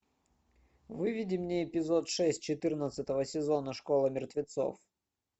выведи мне эпизод шесть четырнадцатого сезона школа мертвецов